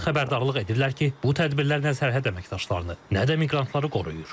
Onlar xəbərdarlıq edirlər ki, bu tədbirlər nə sərhəd əməkdaşlarını, nə də miqrantları qoruyur.